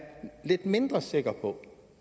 lidt mindre sikker på